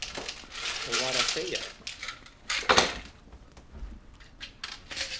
og var að segja eitthvað.